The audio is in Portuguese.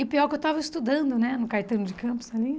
E o pior é que eu estava estudando, né, no Caetano de Campos ali.